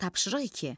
Tapşırıq iki.